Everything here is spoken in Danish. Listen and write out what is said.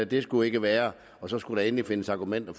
det skulle ikke være og så skulle der endelig findes argumenter